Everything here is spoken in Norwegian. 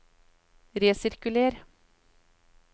resirkuler